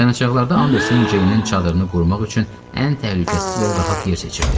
Dayanacaqlarda Anderson Ceynin çadırını qurmaq üçün ən təhlükəsiz və rahat yer seçirdi.